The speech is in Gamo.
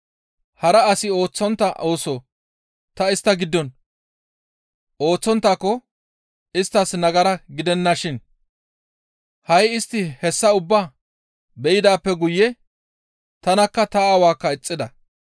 Hara asi ooththontta ooso ta istta giddon ooththonttaako isttas nagara gidennashin; ha7i istti hessa ubbaa be7idaappe guye tanakka ta Aawaakka ixxida.